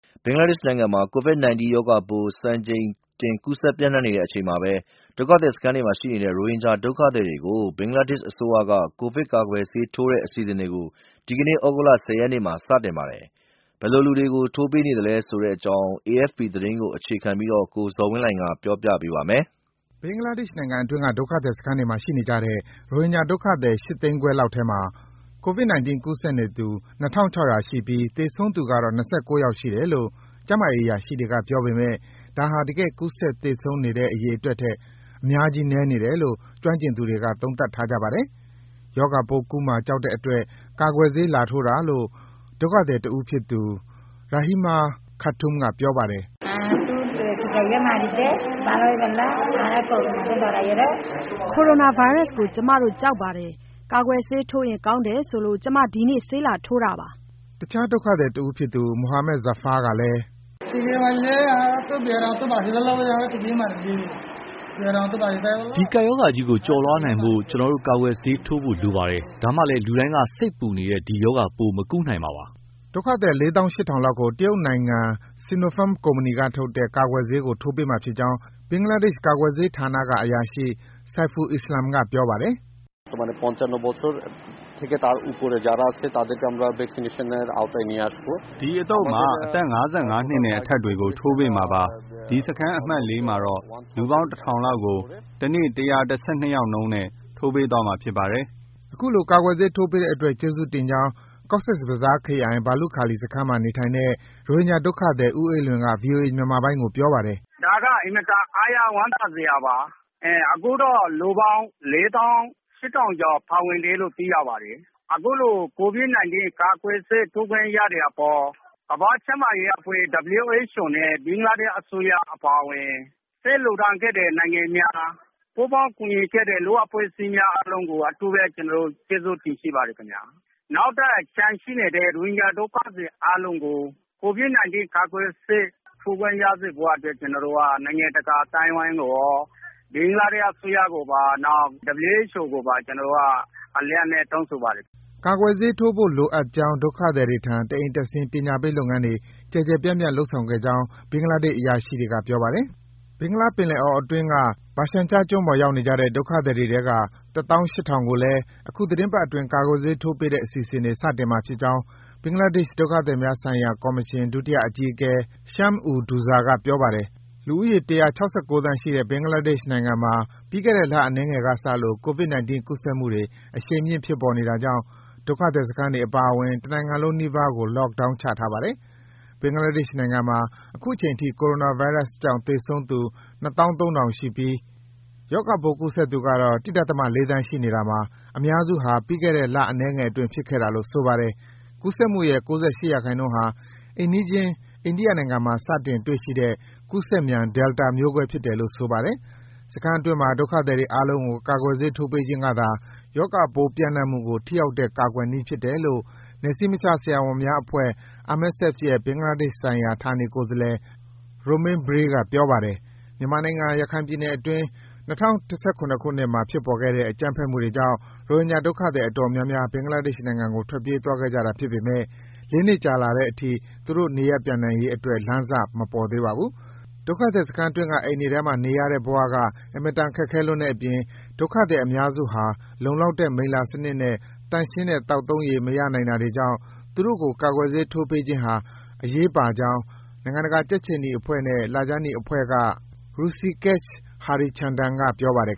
ဘင်္ဂလားဒေ့ရှ်နိုင်ငံမှာ ကိုဗစ်-၁၉ ရောဂါပိုး စံချိန်တင် ကူးစက်ပြန့်နှံ့နေတဲ့အချိန်မှာဘဲ ဒုက္ခသည်စခန်းတွေမှာ ရှိနေတဲ့ ရိုဟင်ဂျာ ဒုက္ခသည်တွေကို ဘင်္ဂလားဒေ့ရှ်အစိုးရက ကိုဗစ်ကာကွယ်ဆေးထိုးတဲ့ အစီအစဉ်တွေ ဒီကနေ့ သြဂုတ်လ ၁၀ ရက်နေ့မှာ စတင်ပါတယ်။ ဘယ်လိုလူတွေကို ထိုးပေးနေသလဲဆိုတဲ့အကြောင်း AFP သတင်းကို အခြေခံပြီး ကိုဇော်ဝင်းလှိုင်က ပြောပြပေးပါမယ်။ ဘင်္ဂလားဒေ့ရှ်နိုင်ငံအတွင်းက ဒုက္ခသည်စခန်းတွေမှာရှိနေကြတဲ့ ရိုဟင်ဂျာဒုက္ခသည် ၈ သိန်းခွဲလောက်ထဲမှာ ကိုဗစ်-၁၉ ကူးစက်နေသူ ၂,၆၀၀ ရှိပြီး သေဆုံးသူကတော့ ၂၉ ယောက်ရှိတယ်လို့ ကျန်းမာရေးအရာရှိတွေက ပြောပေမယ့် ဒါဟာ တကယ် ကူးစက် သေဆုံးတဲ့ အရေအတွက်ထက် အများကြီးနည်းနေတယ်လို့ ကျွမ်းကျင်သူ အများစုက သုံးသပ်ထားကြပါတယ်။ ရောဂါပိုးကူးမှာ ကြောက်တဲ့အတွက် ကာကွယ်ဆေးလာထိုးတာလို့ ဒုက္ခသည်တဦးဖြစ်သူ Rahima Khatun က အခုလို ပြောပါတယ်။ “ကိုရိုနာဗိုင်းရပ်စကို ကျမတို့ ကြောက်ပါတယ်။ ကာကွယ်ဆေးထိုးရင်ကောင်းတယ်ဆိုလို့ ကျမ ဒီနေ့ ဆေးလာထိုးတာပါ။” တခြား ဒုက္ခသည်တဦးဖြစ်သူ Mohammad Zafar ကလည်း “ဒီကပ်ရောဂါကြီးကို ကျော်လွှားနိုင်ဖို့ ကျနော်တို့ ကာကွယ်ဆေးထိုးဖို့ လိုပါတယ်။ ဒါမှလည်း လူတိုင်းက စိတ်ပူနေတဲ့ ဒီရောဂါပိုး မကူးနိုင်မှာပါ။” လို့ပြောပါတယ်။ ဒုက္ခသည် ၄၈,၀၀၀ လောက်ကို တရုတ်နိုင်ငံ Sinopharm ကုမ္ပဏီကထုတ်တဲ့ ကာကွယ်ဆေးကို ထိုးပေးမှာဖြစ်ကြောင်း ဘင်္ဂလားဒေ့ရှ် ကာကွယ်ဆေးဌာနကအရာရှိ Saiful Islam က ပြောပါတယ်။ “အဒီအသုတ်မှာ အသက် ၅၅ နှစ်နဲ့အထက်တွေကို ထိုးပေးမှာပါ။ ဒီ စခန်း အမှတ် (၄) မှာတော့ လူပေါင်း ၁,၀၀၀ လောက်ကို တနေ့ ၁၁၂ ယောက်နှုန်းလောက်နဲ့ ထိုးပေးသွားမှာ ဖြစ်ပါတယ်။” အခုလို ကာကွယ်ဆေးထိုးပေးတဲ့အတွက် ကျေးဇူးတင်ကြောင်း Cox’s Bazar ခရိုင်၊ ဘာလုခါလီစခန်းမှာ နေထိုင်တဲ့ ရိုဟင်ဂျာဒုက္ခသည် ဦးအေးလွင်က ဗွီအိုအေမြန်မာပိုင်းကိုပြောပါတယ်။ “အခုလို ကိုဗစ် ၁၉ ကာကွယ်ဆေးထိုးခွင့်ရတဲ့အပေါ် ကမ္ဘာ့ကျန်းမာရေးအဖွဲ့ WHO နဲ့ ဘင်္ဂလားဒေ့ရှ်အစိုးရ အပါအဝင် ဆေးလှူဒါန်းပေးကြတဲ့ နိုင်ငံများ ပူးပေါင်းကူညီပေးကြတဲ့ လူ့အဖွဲ့အစည်းများအားလုံးကို အထူးပဲ ကျနော်တို့ ရိုဟင်ဂျာတွေက ကျေးဇူးတင်ရှိပါတယ်ခင်ဗျာ။ နောက်ထပ် ကျန်ရှိနေသေးတဲ့ ရိုဟင်ဂျာဒုက္ခသည် အားလုံးကိုလည်း ကိုဗစ် ၁၉ ကာကွယ်ဆေး ထိုးခွင့်ရစေဖို့အတွက် ကျနော်တို့ ရိုဟင်ဂျာတွေက နိုင်ငံတကာအသိုင်းအဝိုင်းကိုရော ဘင်္ဂလားဒေ့ရှ်အစိုးရကိုပါ WHO ကိုပါ အလေးအနက် တောင်းဆိုပါတယ် ခင်ဗျာ။" ကာကွယ်ဆေးထိုးဖို့ လိုအပ်ကြောင်း ဒုက္ခသည်တွေထံ တအိမ်တက်ဆင်း ပညာပေးလုပ်ငန်းတွေ ကျယ်ကျယ်ပြန့်ပြန့်လုပ်ဆောင်ခဲ့ကြောင်း ဘင်္ဂလားဒေ့ရှ် အရာရှိတွေက ပြောပါတယ်။ ဘင်္ဂလားပင်လယ်အော်အတွင်းက ဘာရှန်ချားကျွန်းပေါ်ရောက်နေကြတဲ့ ဒုက္ခသည်တွေထဲက ၁၈,၀၀၀ ကိုလည်း အခုသီတင်းပတ်အတွင်း ကာကွယ်ဆေးထိုးပေးတဲ့အစီအစဉ်တွေ စတင်မှာဖြစ်ကြောင်း ဘင်္ဂလားဒေ့ရှ် ဒုက္ခသည်များဆိုင်ရာကော်မရှင် ဒုတိယအကြီးအကဲ Shams ud Douza က ပြောပါတယ်။ လူဦးရော ၁၆၉ သန်းရှိတဲ့ ဘင်္ဂလားဒေ့ရှ်မှာ ပြီးခဲ့တဲ့ လအနည်းငယ်ကစလို့ ကိုဗစ်-၁၉ ကူးစက်မှုတွေ အရှိန်မြင့် ဖြစ်ပေါ်နေတာကြောင့် ဒုက္ခသည်စခန်းတွေ အပါအဝင် တနိုင်ငံလုံးနီးပါးကို Lockdown ချထားပါတယ်။ ဘင်္ဂလားဒေ့ရှ်နိုင်ငံမှာ အခုချိန်ထိ ကိုရိုနာဗိုင်းရပ်စ်ကြောင့် သေဆုံးသူ ၂၃,၀၀၀ ရှိပြီး ရောဂါပိုးကူးစက်သူကတော့ ၁.၄ သန်းရှိနေတာမှာ အများစုဟာ ပြီးခဲ့တဲ့ လအနည်းငယ်အတွင်း ဖြစ်ခဲ့တာလို့ ဆိုပါတယ်။ ကူးစက်မှုရဲ့ ၉၈% ဟာ အိမ်နီးချင်း အိန္ဒိယနိုင်ငံမှာ စတင်တွေ့ရှိတဲ့ ကူးစက်မြန် Delta မျိုးကွဲဖြစ်တယ်လို့ ဆိုပါတယ်။ စခန်းအတွင်းက ဒုက္ခသည်တွေအားလုံးကို ကာကွယ်ဆေးထိုးပေးခြင်းကသာ ရောဂါပိုးပြန့်နှံ့မှုကို ထိရောက်တဲ့ ကာကွယ်နည်းဖြစ်တယ်လို့ နယ်စည်းမခြားဆရာဝန်များအဖွဲ့ MSF ရဲ့ ဘင်္ဂလားဒေ့ရှ်ဆိုင်ရာ ဌာနေကိုယ်စားလှယ် Romain Briey က ပြောပါတယ်။ မြန်မာနိုင်ငံ၊ ရခိုင်ပြည်နယ်အတွင်း ၂၀၁၇ ခုနှစ်မှာ ဖြစ်ပေါ်ခဲ့တဲ့ အကြမ်းဖက်မှုတွေကြောင့် ရိုဟင်ဂျာဒုက္ခသည်အတော်များများ ဘင်္ဂလားဒေ့ရှ်နိုင်ငံကို ထွက်ပြေးသွားခဲ့ကြတာဖြစ်ပေမယ့် ၄ နှစ်ကြာလာတဲ့အထိ သူတို့ နေရပ်ပြန်နိုင်ရေးအတွက် လမ်းစ မပေါ်သေးပါဘူး။ ဒုက္ခသည်စခန်းအတွင်းက အိမ်တွေထဲမှာ နေရတဲ့ဘ၀ အင်မတန် ခက်ခဲလွန်းတဲ့အပြင် ဒုက္ခသည် အများစုဟာ လုံလောက်တဲ့ မိလ္လာစနစ်နဲ့ သန့်ရှင်းတဲ့ သောက်သုံးရေ မရနိုင်တာတွေကြောင့် သူတို့ကို ကာကွယ်ဆေးထိုးပေးခြင်းဟာ အရေးပါကြောင်း နိုင်ငံတကာ ကြက်ခြေနီအဖွဲ့နဲ့ လခြမ်းနီအဖွဲ့က Hrusikesh Harichandan က ပြောပါတယ်